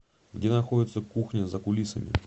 где находится кухня за кулисами